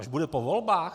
Až bude po volbách?